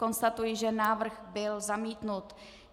Konstatuji, že návrh byl zamítnut.